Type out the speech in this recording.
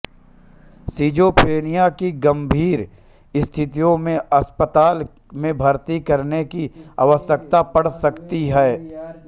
schizophrenia की गंभीर स्थितियों में अस्पताल में भर्ती करने की आवयकता पड़ सकती है